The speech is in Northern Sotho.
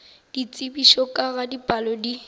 ditsebišo ka ga dipalo di